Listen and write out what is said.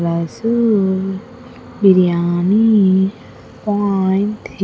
Rasool biryani point --